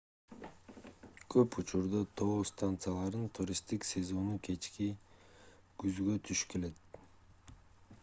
көп учурда тоо станцияларынын туристтик сезону кечки күзгө туш келет